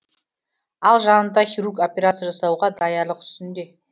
ал жанында хирург операция жасауға даярлық үстінде